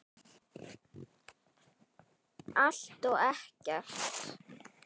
Allt og ekkert